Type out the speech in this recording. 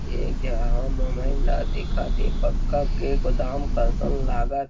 एक यहाँ मोबाइल ला दिख थे पक्का के गोदाम कसन लागत--